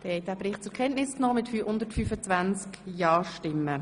Auch diesen Bericht haben Sie zur Kenntnis genommen.